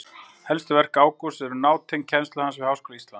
Helstu verk Ágústs eru nátengd kennslu hans við Háskóla Íslands.